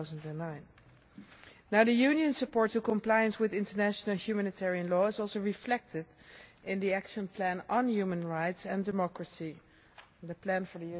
2009. The Union's support for compliance with international humanitarian law is also reflected in the Action Plan on Human Rights and Democracy for